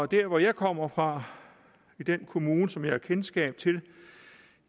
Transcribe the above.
der hvor jeg kommer fra i den kommune som jeg har kendskab til